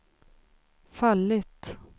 fallit